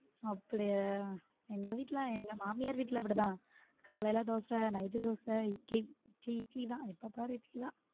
அப்பிடியா எங்க வீட்ல எங்க மாமியார் வீட்ல அப்பிடி தான் காலைல தோசை night தோசை இட்லி சி இட்லி தான் எப்போ பாரு இட்லி தான்.